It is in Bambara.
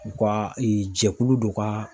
U ka jɛkulu dɔ ka